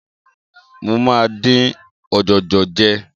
Mo máa dín ọ̀jọ̀jọ̀ jẹ.